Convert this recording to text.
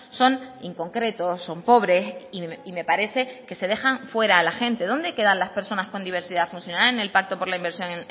son inconcretos son pobres y me parece que se dejan fuera a la gente dónde quedan las personas con diversidad funcional en el pacto por la inversión